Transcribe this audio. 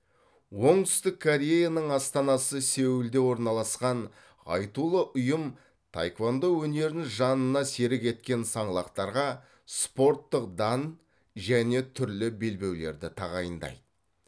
оңтүстік кореяның астанасы сеулде орналасқан айтулы ұйым таеквондо өнерін жанына серік еткен саңлақтарға спорттық дан және түрлі белбеулерді тағайындайды